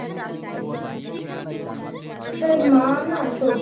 তোর মা না সত্যি।